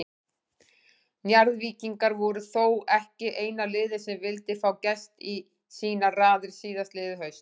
Njarðvíkingar voru þó ekki eina liðið sem vildi fá Gest í sínar raðir síðastliðið haust.